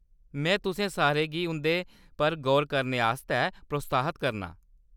में तुसें सारें गी उं'दे पर गौर करने आस्तै प्रोत्साहत करनां ।